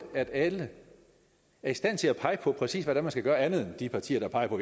at alle er i stand til at pege på præcis hvad det er man skal gøre andet end de partier der peger på